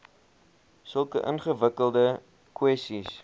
sulke ingewikkelde kwessies